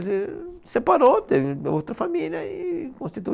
Ele separou, teve outra família e constituiu.